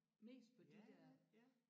Mest på de der